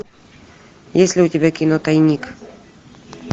есть ли у тебя кино тайник